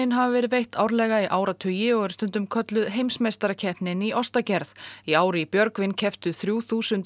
hafa verið veitt árlega í áratugi og eru stundum kölluð heimsmeistarakeppnin í ostagerð í ár í Björgvin kepptu þrjú þúsund